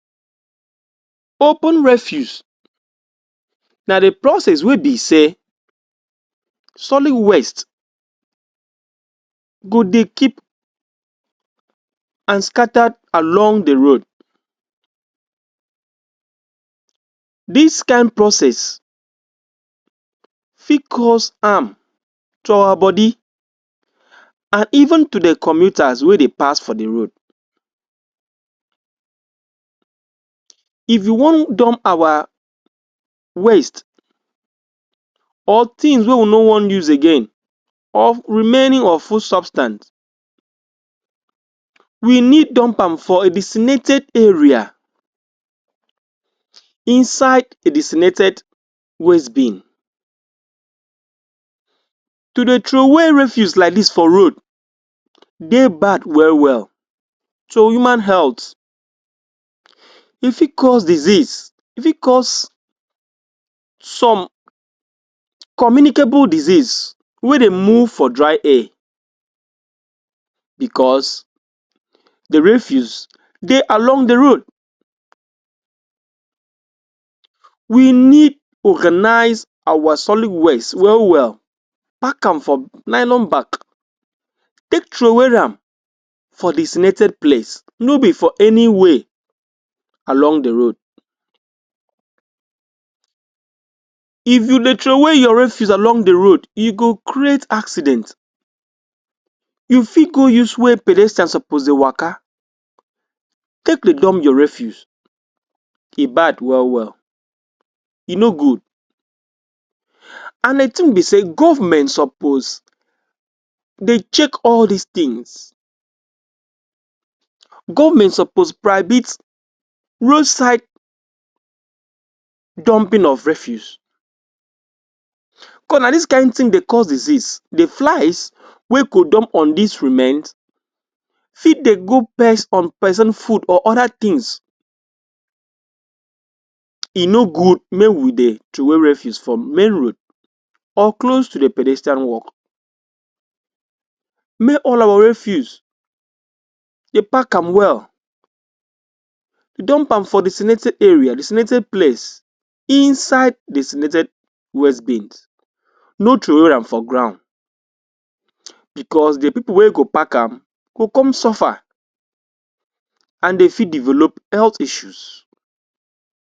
Open refuse na the process wey be say solid waste go dey keep and scattered along the road. This kain process fit cause harm to our bodi and even to the commuters wey dey pass for the road. If we no dump awa waste or thing wey we no wan use again or remaining of food substance, we need dump am for a desimented area, inside a desimented wastebin. To dey throwaway refuse like dis for road dey bad well well to human health. E fit cause disease, e fit cause some communicable disease wey dey move for dry air because the refuse dey along the road. We need organize our solid waste well well, pack am for nylon back take throwaway am for desimented place, no be for anyway along the road. If you dey throwaway your refuse along the road, e go create accident. You fit go use where pedestrians suppose dey waka take dey dumb your refuse. E bad well well, e no good. And the thing be say government suppose dey check all dis things. Government suppose prihibit roadside dumping of refuse cause na dis kain thing dey cause disease. The flies wey go dump on dis remains fit dey bring on person food or other things. E no good mey we dey throwaway refuse for main road or close to the pedestrian walk. Mey all of our refuse dey pack am well. Dump am for desimented area, desimented place, inside desimented wastebins. No throwaway am for ground because the people wey go pack am go come suffer and dey fit develop health issues.